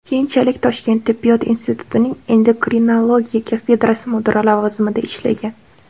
Keyinchalik Toshkent tibbiyot institutining endokrinologiya kafedrasi mudiri lavozimida ishlagan.